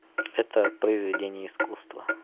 это произведение искусства